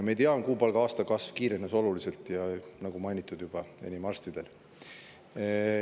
Mediaankuupalga aastakasv kiirenes oluliselt ja nagu juba mainitud, enim arstidel.